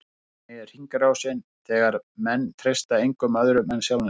Þannig er hringrásin, þegar menn treysta engum öðrum en sjálfum sér.